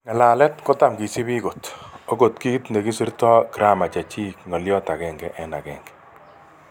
Ngalalet kotam kisipi kot. Ogot kit ne kisito gramar checik ngoliot aenge en aenge.